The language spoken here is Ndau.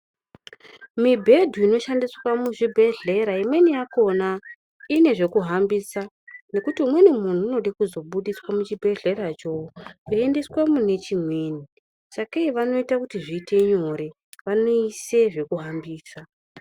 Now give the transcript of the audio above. Mibhedhu inoshandiswa muzvibhedhlera imweni yakhona ine zvekuhambisa nekuti umweni muntu anoda kuzobudiswa mechibhedhleracho veiendeswa mune chimweni. Sakei vanoita zviite nyore vanoisa zvekuhambisa.